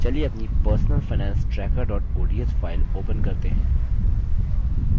चलिए अपनी personal finance tracker ods file open करते हैं